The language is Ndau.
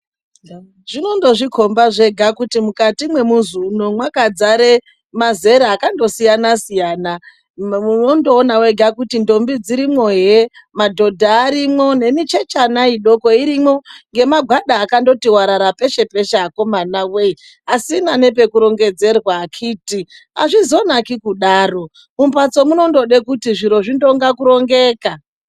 Zvinondozvikhomba zvega kuti mukati mwemuzi uno mwakadzare mazera akandosiyasiyana. Unondoona wega kuti ndombi dzirimwo he; madhodha arimwo; nemichechana midoko irimwo, ngemagwada akandoti warara peshe-peshe akomana wee! Asina nepekurongedzerwa akhiti. Azvizonaki kudaro, mumbatso munondode kuti zviro zvindonga kurongeka.